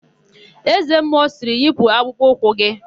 Eze mmụọ sịrị, "yipu akpụkpọ ụkwụ gị"!